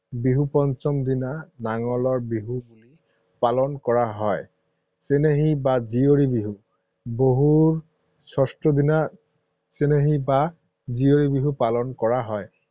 বিহুৰ পঞ্চম দিনা নাঙলৰ বিহু পালন কৰা হয়। চেনেহী বা জীয়ৰী বিহু, বিহুৰ ষষ্ঠ দিনা চেনেহী বা জীয়ৰী বিহু পালন কৰা হয়।